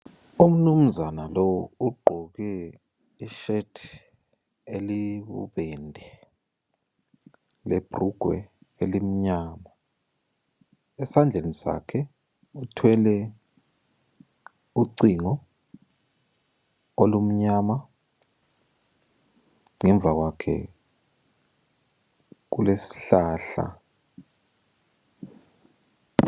Umnumzana lowu ugqoke ishethi eliyibubende lebhulugwe elimnyama, esandleni sakhe uthwele ucingo olumnyama. Ngemva kwakhe kulesihlahla.